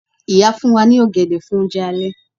Ìyá fún wa ní ọ̀gẹ̀dẹ̀ fún oúnjẹ alẹ́